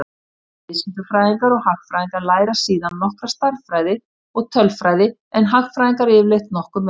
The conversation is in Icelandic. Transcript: Bæði viðskiptafræðingar og hagfræðingar læra síðan nokkra stærðfræði og tölfræði en hagfræðingarnir yfirleitt nokkuð meira.